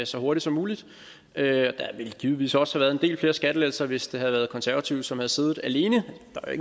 så hurtigt som muligt der ville givetvis også have været en del flere skattelettelser hvis det havde været konservative som havde siddet alene der er